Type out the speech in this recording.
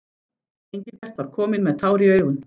Engilbert var kominn með tár í augun.